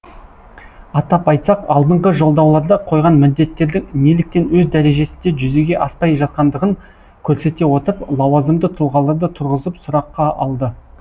атап айтсақ алдыңғы жолдауларда қойған міндеттердің неліктен өз дәрежесінде жүзеге аспай жатқандығын көрсете отырып лауазымды тұлғаларды тұрғызып сұраққа алды